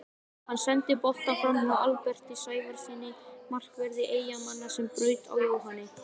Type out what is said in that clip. Hann sendi boltann framhjá Alberti Sævarssyni markverði Eyjamanna sem braut á Jóhanni.